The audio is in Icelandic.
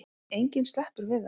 Enginn sleppur við það.